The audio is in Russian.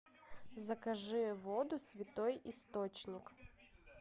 закажи воду святой источник